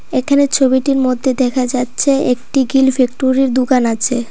এখানে ছবিটির মধ্যে দেখা যাচ্ছে একটি গিল ফ্যাক্টরির দুকান আছে।